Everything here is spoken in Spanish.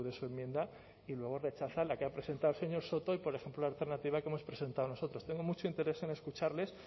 su enmienda y luego rechazan la que ha presentado el señor sordo y por ejemplo la alternativa que hemos presentado nosotros tengo mucho interés en escucharles